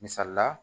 Misali la